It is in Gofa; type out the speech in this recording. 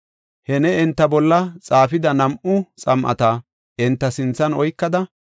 “He ne enta bolla xaafida nam7u xam7ata enta sinthan oykada,